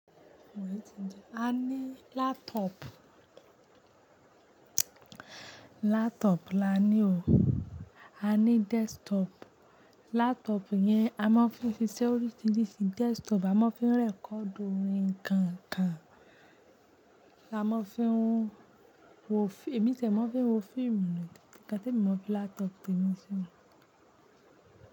A ní laptop, laptop la ní o, a ní desktop. Laptop yẹn a máa ń fi ṣe oríṣiríṣi, desktop a máa ń fi record orin nkankan, a máa ń fi wo film, èmi ti ẹ̀ máa ń fi wo fíìmù ni. Nnkán tí èmi máa ń fi laptop tèmi ṣe ni.